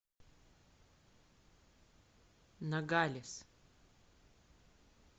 ногалес